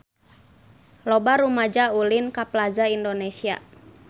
Loba rumaja ulin ka Plaza Indonesia